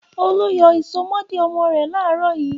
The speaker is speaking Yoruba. Olú yọ ìsomọ́ọ̀dí ọmọ rẹ̀ láàárọ̀ yìí.